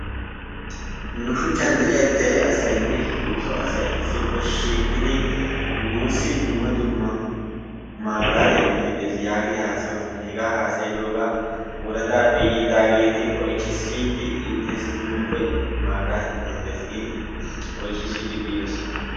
Nu shuuchchan de'iyaa dere asaynne nu soo asay issippe shiiqidi nuusi dumma dumma mabiraatiyaa metoy des giidi haasayoosona. Hegaa hasayidoogaa woraadaappe yiidaageti oychchi siiyidi intessi tumuppe mabiaatiyaa metoy dees giidi oychi siyidi biidoosona.